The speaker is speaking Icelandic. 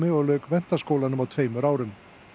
og lauk menntaskólanum á tveimur árum